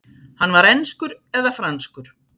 Hann var enskur eða franskur.